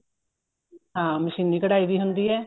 ਹਾਂ ਮਸ਼ੀਨੀ ਕਢਾਈ ਵੀ ਹੁੰਦੀ ਏ